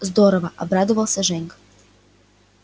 здорово обрадовался женька